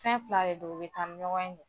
Fɛn fila de don u bɛ taa ni ɲɔgɔn ye de